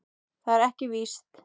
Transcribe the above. Það er ekki víst.